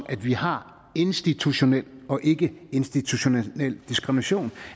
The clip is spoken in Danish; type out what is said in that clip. at vi har institutionel og ikkeinstitutionel diskrimination